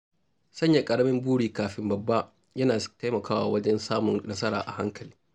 Sanya ƙaramin buri kafin babba yana taimakawa wajen samun nasara a hankali.